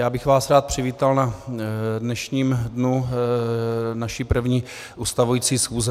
Já bych vás rád přivítal na dnešním dnu naší první ustavující schůze.